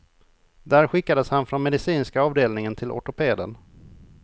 Där skickades han från medicinska avdelningen till ortopeden.